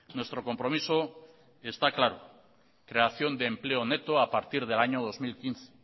nuestro compromiso está claro creación de empleo neto a partir del año dos mil quince